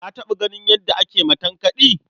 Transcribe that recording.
Ka taɓa ganin yadda ake matankaɗi?